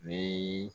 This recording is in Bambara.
Ni